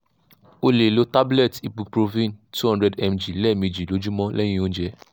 o le lo tablet ibuprofen two hundred milligram lemeji lojumo lehin ounje